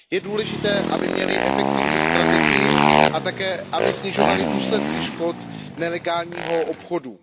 Je důležité, aby měly efektivní strategii a také, aby snižovaly důsledky škod nelegálního obchodu.